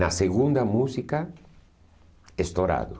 Na segunda música, estourado.